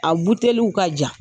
A buteliw ka jan.